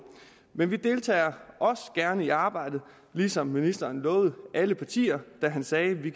men vi deltager også gerne i arbejdet som ministeren lovede alle partier da han sagde at vi